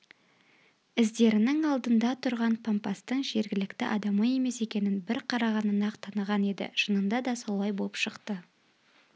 іздерінің алдында тұрған пампастың жергілікті адамы емес екенін бір қарағаннан-ақ таныған еді шынында да солай боп шықты